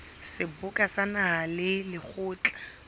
seboka sa naha le lekgotla